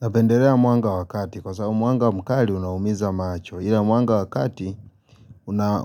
Napendelea mwanga wakati kwa sababu mwanga mkali unaumiza macho ila mwanga wakati una